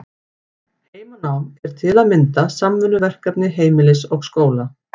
Heimanám er til að mynda samvinnuverkefni heimilis og skóla.